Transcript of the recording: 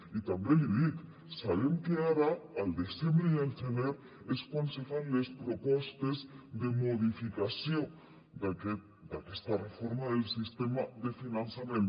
i també l’hi dic sabem que ara al desembre i al gener és quan se fan les propostes de modificació d’aquesta reforma del sistema de finançament